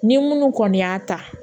Ni minnu kɔni y'a ta